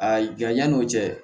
A janya n'o cɛ